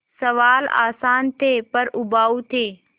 सवाल आसान थे पर उबाऊ थे